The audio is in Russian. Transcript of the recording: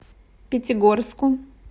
пятигорску